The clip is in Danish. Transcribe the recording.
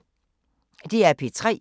DR P3